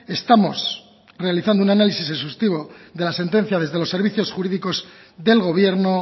estamos realizando un análisis exhaustivo de la sentencia desde los servicios jurídicos del gobierno